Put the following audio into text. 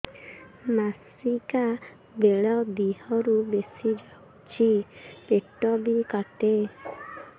ମାସିକା ବେଳେ ଦିହରୁ ବେଶି ଯାଉଛି ପେଟ ବି କାଟେ